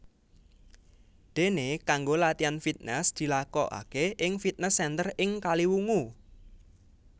Dene kanggo latihan fitnes dilakokake ing fitnes center ing Kaliwungu